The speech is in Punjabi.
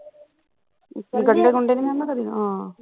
ਗੰਡੇ ਗੁੰਡੇ ਨੀ ਖਾਧੀ ਕਦੇ ਹਾਂ